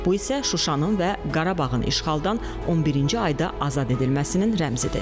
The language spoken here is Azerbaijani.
Bu isə Şuşanın və Qarabağın işğaldan 11-ci ayda azad edilməsinin rəmzidir.